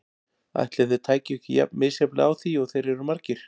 Ætli þeir tækju ekki jafn misjafnlega á því og þeir eru margir.